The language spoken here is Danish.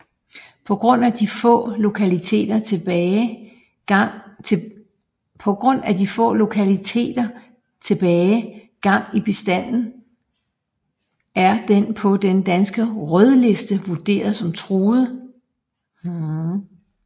På grund af de få lokaliteter tilbage gang i bestanden er den på Den danske Rødliste vurderet som Truet